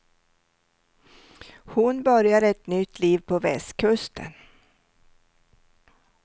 Hon börjar ett nytt liv på västkusten.